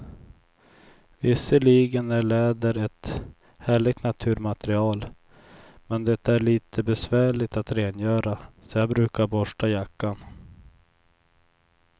Visserligen är läder ett härligt naturmaterial, men det är lite besvärligt att rengöra, så jag brukar borsta jackan.